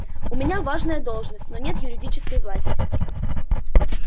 у меня важная должность но нет юридической власти